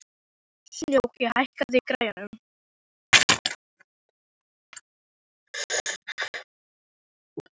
Snjóki, hækkaðu í græjunum.